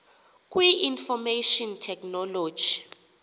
kwi information technology